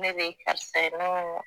Ne de ye karisa ye ne ko n ko